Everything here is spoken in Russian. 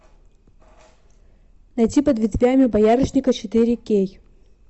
найти под ветвями боярышника четыре кей